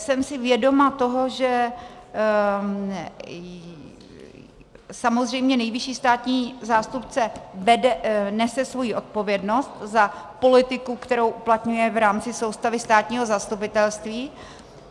Jsem si vědoma toho, že samozřejmě nejvyšší státní zástupce nese svoji odpovědnost za politiku, kterou uplatňuje v rámci soustavy státního zastupitelství.